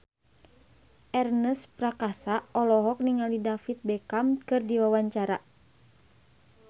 Ernest Prakasa olohok ningali David Beckham keur diwawancara